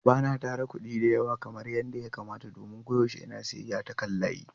Ba na tara kuɗi da yawa kamar yadda ya kamata domin koyaushe ina siyayya ta kan layi.